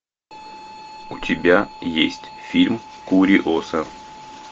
у тебя есть фильм куриоса